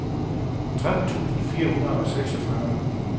tretten tusind fire hundrede og seksogfyrre